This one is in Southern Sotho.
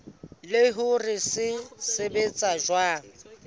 le hore se sebetsa jwang